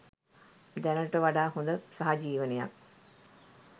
දැනට වඩා හොඳ සහජීවනයක්